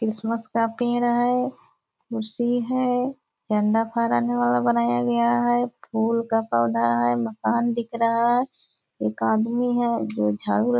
Christmas का पेड़ है कुर्सी है झंडा फड़ाने वाला बनाया गया है फूल का पौधा है मकान दिख रहा है एक आदमी है जो झाड़ू --